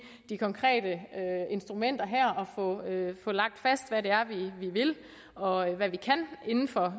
de konkrete instrumenter her og få lagt fast hvad det er vi vil og hvad vi kan inden for